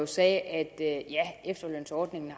sagde at efterlønsordningen